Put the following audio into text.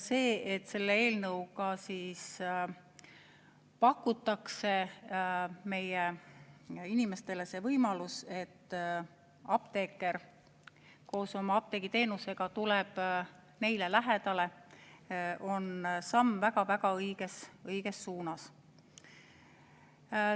See, et selle eelnõuga pakutakse meie inimestele seda võimalust, et apteeker koos apteegiteenusega tuleb neile lähemale, on samm väga-väga õiges suunas.